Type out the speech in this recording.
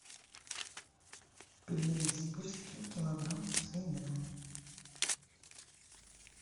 пельмени сибирские килограмм свинина